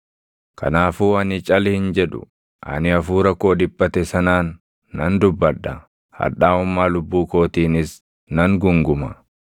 “Kanaafuu ani cal hin jedhu; ani hafuura koo dhiphate sanaan nan dubbadha; hadhaaʼummaa lubbuu kootiinis nan guunguma.